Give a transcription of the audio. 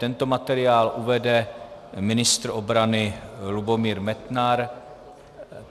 Tento materiál uvede ministr obrany Lubomír Metnar.